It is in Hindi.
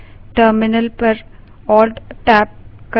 terminal alt + tab पर जाएँ